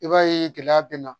I b'a ye gɛlɛya bɛ na